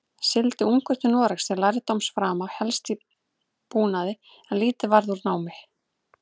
Sigldi ungur til Noregs til lærdómsframa, helst í búnaði, en lítið varð úr námi.